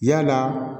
Yalaa